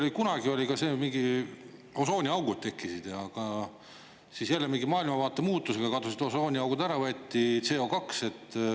Kunagi oli meil ka, mingid osooniaugud tekkisid, aga siis jälle mingi maailmavaate muutusega kadusid osooniaugud ära, võeti CO2.